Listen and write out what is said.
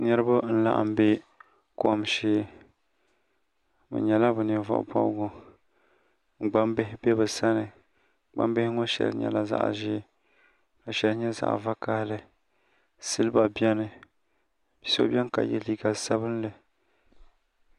Niriba n laɣim bɛ kom shɛɛ bi nyɛla bi nin vuɣi bɔbigu gbaŋ bihi bɛ bi sani gbaŋ bihi ŋɔ shɛli nyɛla zaɣi zɛɛ ka ahɛli nyɛ zaɣi vakahali siliba bɛni ao bɛni ka ye liiga sabinli.